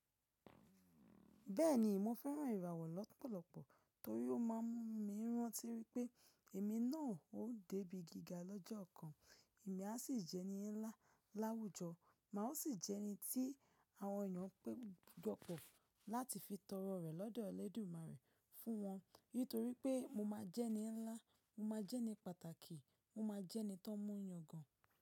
Bẹ́ẹ̀ni, mo fẹ́ràn ìràwọ̀ lọ́pọ̀lọpọ̀ torí ó má a ń mú mi rántí wípé èmi náà ó dé bí gíga lọ́jọ́ kan, èmi a sì jẹ́ ẹni ńlá láwùjọ, mà o sì jẹ́ ẹni tí àwọn ènìyàn péjọpọ̀ láti fi tọrọ rẹ̀ lọ́dọ̀ Ọlẹ́dùmarè fún wọn nítorí pé mo máa jẹ́ ẹni ńlá, mo máa jẹ́ ẹni pàtàkì, mo máa jẹ́ ẹni tó ń mú yàn gan.